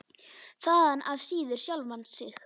Þaðan af síður sjálfan sig.